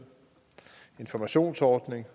informationsordning